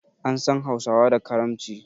An san hausawa da karamci